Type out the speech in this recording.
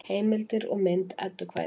Heimildir og mynd Eddukvæði.